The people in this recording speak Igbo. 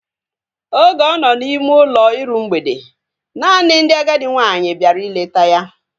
Oge ọ nọ n' ime ụlọ iru mgbede, naanị ndị agadi nwaanyị bịara ileta ya